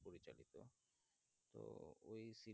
web ছিল